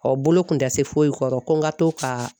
bolo kun tɛ se foyi kɔrɔ, ko n ka to ka